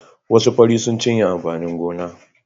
Wasu fari sun cinye amfanin gona.